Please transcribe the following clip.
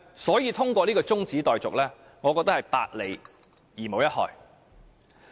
所以我覺得通過中止待續議案，有百利而無一害。